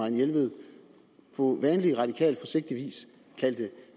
jelved på vanlig radikal forsigtig vis kaldte